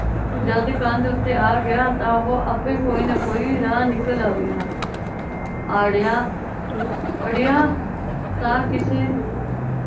ਜਦੋਂ ਕੰਧ ਉੱਤੇ ਆਗਿਆ ਤਾਂ ਉਹ ਆਪੇ ਕੋਈ ਨਾ ਕੋਈ ਰਾਹ ਨਿਕਲ ਆਵੇਗਾ ਆੜਿਆ ਅੜਿਆ ਤਾਂ ਕਿਸੇ